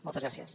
moltes gràcies